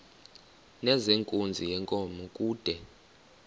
nezenkunzi yenkomo kude